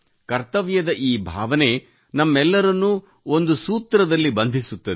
ಕರ್ತವ್ಯದ ಈ ಭಾವನೆ ನಮ್ಮೆಲ್ಲರನ್ನೂ ಒಂದು ಸೂತ್ರದಲ್ಲಿ ಬಂಧಿಸುತ್ತದೆ